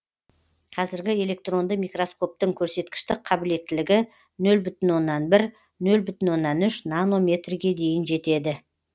қазіргі электронды микроскоптың көрсеткіштік қабілеттілігі нөл бүтін оннан бір нөл бүтін оннан үш нано метрге дейін жетеді